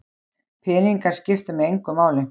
Peningar skipta mig engu máli